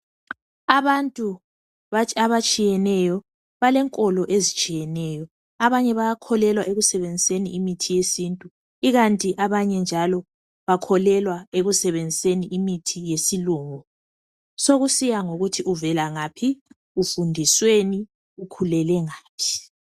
Abantu abatshiyeneyo balenkolo ezitshiyeneyo. Abanye bayakholelwa ekusebenziseni imithi yesintu ikanti abanye njalo bakholelwa ekusebenziseni imithi yesilungu. Sekusiya ngokuthi uvelangaphi, ufundisweni njalo ukhulele ngaphi.